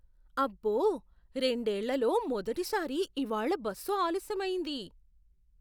అబ్బో, రెండేళ్లలో మొదటిసారి ఇవాళ్ళ బస్సు ఆలస్యమయ్యింది.